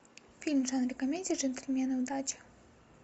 фильм в жанре комедия джентльмены удачи